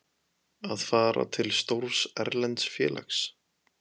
Að fara til stórs erlends félags?